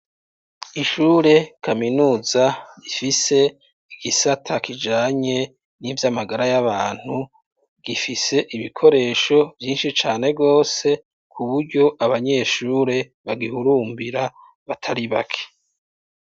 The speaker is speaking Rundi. Ishure kaminuza ifise igisata kijanye n'ivyamagara y'abantu gifise ibikoresho vyinshi cane gwose kuburyo abanyeshure bagihurumbira batari bake.